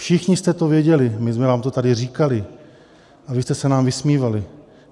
Všichni jste to věděli, my jsme vám to tady říkali a vy jste se nám vysmívali.